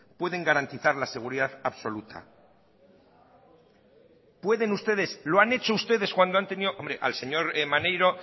pueden garantizar la seguridad absoluta pueden ustedes lo han hecho ustedes cuando han tenido hombre al señor maneiro